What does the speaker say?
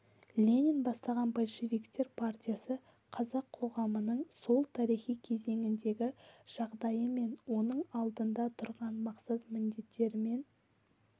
ленин бастаған большевиктер партиясы қазақ қоғамының сол тарихи кезеңдегі жағдайы мен оның алдында тұрған мақсат-міндеттерімен